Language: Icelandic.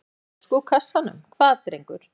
Fyrir flösku úr kassanum, hvað drengur?